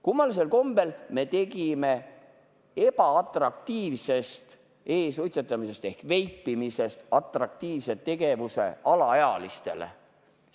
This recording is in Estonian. Kummalisel kombel me tegime ebaatraktiivsest e-suitsetamisest ehk veipimisest atraktiivse tegevuse alaealistele.